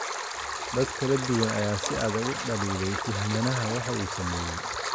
dad kala duwan ayaa si adag u dhaliilay tuhmanaha waxa uu sameeyay.